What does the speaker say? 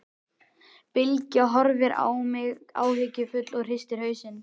Bylgja horfir á mig áhyggjufull og hristir hausinn.